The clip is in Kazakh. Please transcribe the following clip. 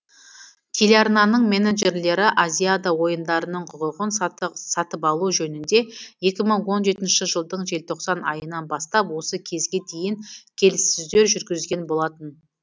телеарнаның менеджерлері азиада ойындарының құқығын сатып алу жөнінде екі мың он жетінші жылдың желтоқсан айынан бастап осы кезге дейін келіссөздер жүргізген болатын